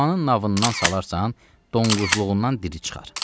Dəyirmanın navından salarsan, donqozluğundan diri çıxar.